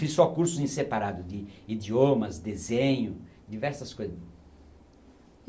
Fiz só cursos em separado de idiomas, desenho, diversas coisas.